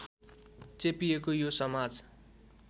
चेपिएको यो समाज